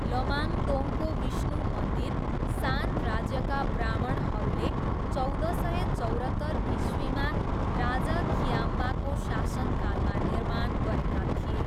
लमाङदोङको विष्णु मन्दिर सान राज्यका ब्राह्मणहरूले चौध सय चौरत्तर इस्वीमा राजा कियाम्बाको शासनकालमा निर्माण गरेका थिए।